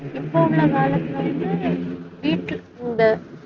இப்ப உள்ள காலத்துல வந்து வீட்டுல இந்த